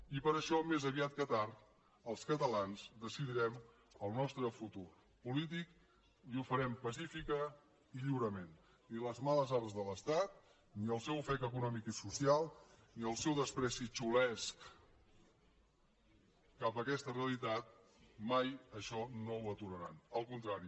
i per això més aviat que tard els catalans decidirem el nostre futur polític i ho farem pacíficament i lliurement ni les males arts de l’estat ni el seu ofec econòmic i social ni el seu menyspreu xulesc cap a aquesta rea litat mai això no ho aturaran al contrari